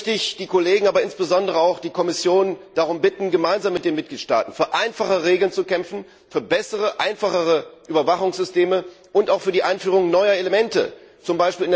Deswegen möchte ich die Kollegen, insbesondere aber auch die Kommission, darum bitten, gemeinsam mit den Mitgliedstaaten für einfachere Regeln zu kämpfen, für bessere und einfachere Überwachungssysteme und auch für die Einführung neuer Elemente. Wenn Sie z.